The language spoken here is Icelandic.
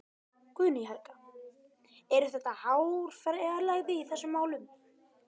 Guðný Helga: Eru þetta háar fjárhæðir í þessum málum?